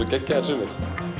geggjaðir sumir